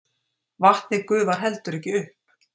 Vatnið gufar heldur ekki upp!